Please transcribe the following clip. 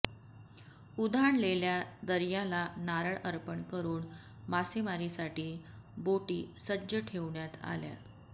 उधाणलेल्या दर्याला नारळ अर्पण करून मासेमारीसाठी बोटी सज्ज ठेवण्यात आल्या